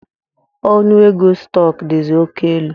Ọnụ ego stọk dizi oké elu